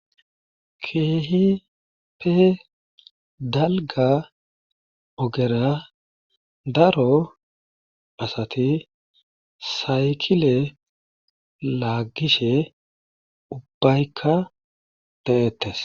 keehipe dalga ogera daro asati saykile laaggishe ubbaykka de7ettes.